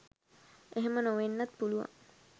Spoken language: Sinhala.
එහෙම නොවෙන්නත් පුළුවන්